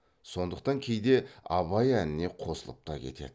сондықтан кейде абай әніне қосылып та кетеді